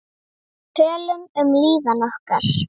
Tölum um líðan okkar.